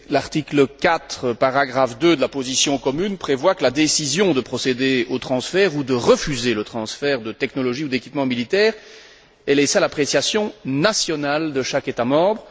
L'article 4, paragraphe 2, de la position commune, prévoit que la décision de procéder au transfert ou de refuser le transfert de technologies ou d'équipements militaires est laissée à l'appréciation nationale de chaque État membre.